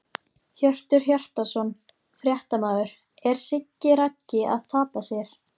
Hjörtur Hjartarson, fréttamaður: Er Siggi Raggi að tapa sér?!